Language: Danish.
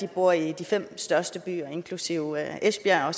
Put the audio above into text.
bor i de fem største byer inklusive esbjerg